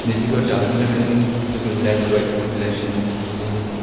निधि को डाल से लगाई गई हैं और फिर एक लाइट वाइट कलर की लाइट जलती दिखाई दे रही है।